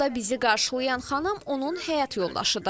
Qapıda bizi qarşılayan xanım onun həyat yoldaşıdır.